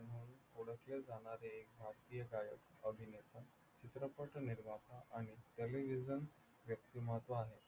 म्हंटले जाणारे एक भारतीय गायक, अभिनेता, चित्रपट निर्माता आणि कले व्यक्तिमत्व आहे.